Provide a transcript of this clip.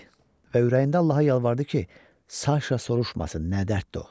dedi və ürəyində Allaha yalvardı ki, Saşa soruşmasın nə dərddir o.